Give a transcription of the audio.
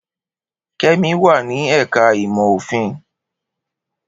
Kemi wà ní ẹ̀ka ìmọ̀ òfin.